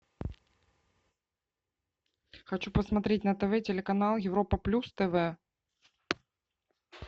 хочу посмотреть на тв телеканал европа плюс тв